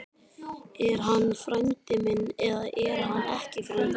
Er hann frændi minn eða er hann ekki frændi minn?